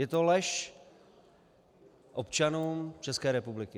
Je to lež občanům České republiky.